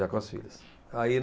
Já com as filhas. Aí